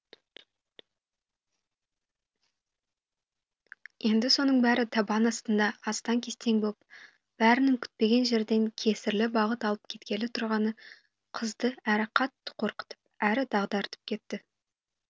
енді соның бәрі табан астында астаң кестең боп бәрінің күтпеген жерден кесірлі бағыт алып кеткелі тұрғаны қызды әрі қатты қорқытып әрі дағдартып кетті